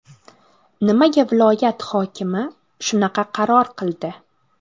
Nimaga viloyat hokimi shunaqa qaror qildi?